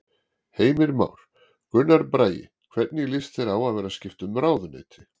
Heimir Már: Gunnar Bragi hvernig líst þér á að vera skipta um ráðuneyti?